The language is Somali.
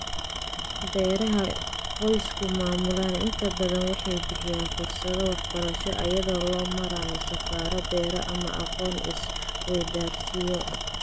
Beeraha qoysku maamulaan inta badan waxay bixiyaan fursado waxbarasho iyada oo loo marayo safarro beero ama aqoon-is-weydaarsiyo.